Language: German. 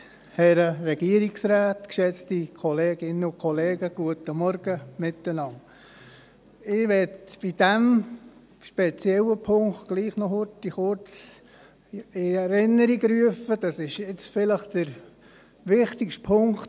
der SiK. Ich möchte zu diesem speziellen Punkt, vielleicht dem wichtigsten, doch noch kurz etwas in Erinnerung rufen.